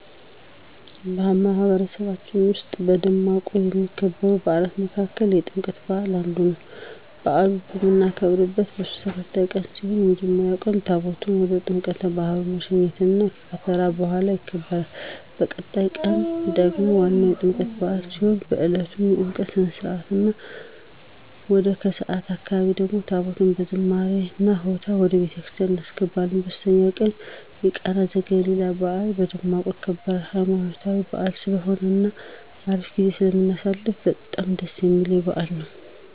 በማህበረሰባችን ዉስጥ በደማቁ ከሚከበሩ በዓላት መካከል የጥምቀት በዓል አንዱ ነው። በአሉን እምናከብረው ለሶስት ተከታታይ ቀን ሲሆን በመጀመሪያው ቀን ታቦታቱን ወደ ጥምቀተ ባህሩ መሸኘት እና የከተራ በዓል ይከበራል። በቀጣዩ ቀን ደግሞ ዋናው የጥምቀት በዓል ሲሆን በእለቱም የጥምቀት ስነ-ስርዓት እና ወደ ከሰዓት አካባቢ ደግሞ ታቦታቱን በዝማሬ እና ሆታ ወደ ቤተክርስቲያን እናስገባለን። በሶስተኛው ቀን ደግሞ የቃና ዘገሊላ በዓል በደማቁ ይከበራል። ሃይማኖታዊ በዓል ስለሆነ እና አሪፍ ጊዜ ስለምናሳልፍ በጣም ደስ እሚለኝ በዓል ነው።